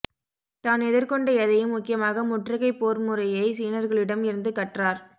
தான் எதிர்கொண்ட எதையும் முக்கியமாக முற்றுகைப் போர்முறையைச் சீனர்களிடம் இருந்து கற்றார்